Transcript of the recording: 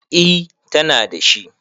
E, tana da shi.